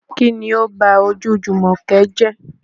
Kín ni ó ba ojú Àmọ̀kẹ́ jẹ́?